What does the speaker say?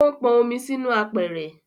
O n pọn omi sì inú apẹ̀rẹ̀